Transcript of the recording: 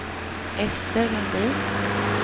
Ester Lundin